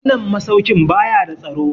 Wannan masaukin ba ya da tsaro.